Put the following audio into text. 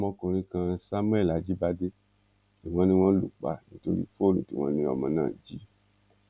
ọmọkùnrin kan samuel ajíbádé ni wọn ní wọn lù pa nítorí fóònù tí wọn ní ọmọ náà jí